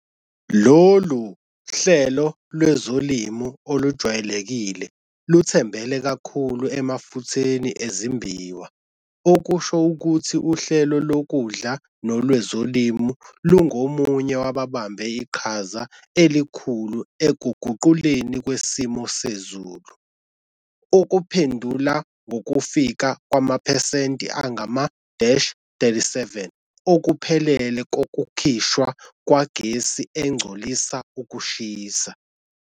Lolu hlelo lwezolimo olujwayelekile luthembele kakhulu emafutheni ezimbiwa, okusho ukuthi uhlelo lokudla nolwezolimo lungomunye wababambe iqhaza elikhulu ekuguqukeni kwesimo sezulu, okuphendula ngokufika kwamaphesenti angama-37 okuphelele kokukhishwa kwegesi engcolisa ukushisa.